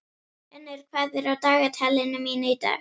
Unnur, hvað er í dagatalinu mínu í dag?